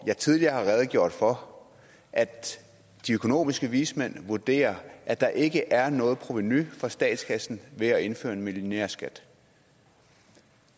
jeg tidligere redegjort for at de økonomiske vismænd vurderer at der ikke er noget provenu for statskassen ved at indføre en millionærskat